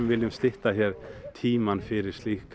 viljum stytta hér tímann fyrir slík